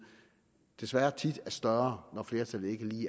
desværre tit er større når flertallet ikke lige